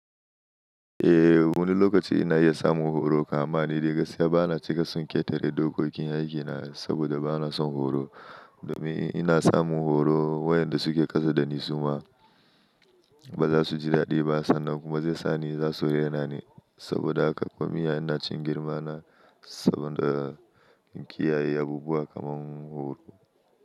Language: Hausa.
Eh, wani lokaci ina iya samun horo kam ma ni da gaskiya bana cika son ƙetare dokokin aikina saboda bana son horo. Domin ina samun horo wayanda suke ƙasa da ni, su ma ba za su ji daɗi ba sannan kuma zai sa ni za su renani. Saboda haka kuma ina cin girmana saboda kiyaye abubuwa kamar horo.